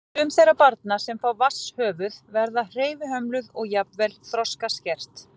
Sum þeirra barna sem fá vatnshöfuð verða hreyfihömluð og jafnvel þroskaskert.